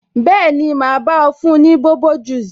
Bẹẹni, ma bá ọ fún ní bobo juice